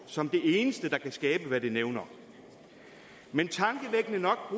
som det eneste der kan skabe hvad det nævner men tankevækkende nok